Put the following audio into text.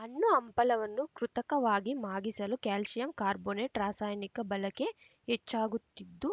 ಹಣ್ಣು ಹಂಪಲವನ್ನು ಕೃತಕವಾಗಿ ಮಾಗಿಸಲು ಕ್ಯಾಲ್ಶಿಯಂ ಕಾರ್ಬೋನೇಟ್‌ ರಾಸಾಯನಿಕ ಬಳಕೆ ಹೆಚ್ಚಾಗುತ್ತಿದ್ದು